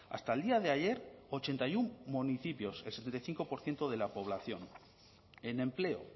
hasta el día de ayer ochenta y uno municipios el setenta y cinco por ciento de la población en empleo